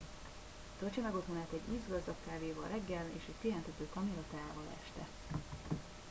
töltse meg otthonát egy ízgazdag kávéval reggel és egy pihentető kamillateával este